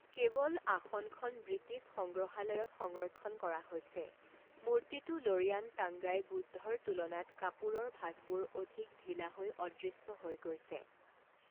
কেৱল আসনখন ব্ৰিটিছ সংগ্ৰহালয়ত সংৰক্ষণ কৰা হৈছে, মূৰ্তিটো ল'ৰিয়ান টাঙ্গাই বুদ্ধৰ তুলনাত কাপোৰৰ ভাঁজবোৰ অধিক ঢিলা হৈ অদৃশ্য হৈ গৈছে।